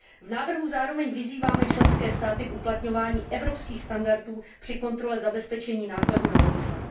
V návrhu zároveň vyzýváme členské státy k uplatňování evropských standardů při kontrole zabezpečení nákladů na vozidle.